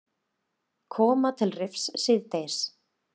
Koma til Rifs síðdegis